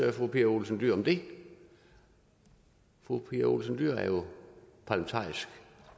fru pia olsen dyhr om det fru pia olsen dyhr er jo parlamentarisk